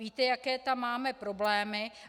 Víte, jaké tam máme problémy.